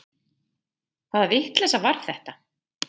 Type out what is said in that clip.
Hvaða vitleysa var þetta?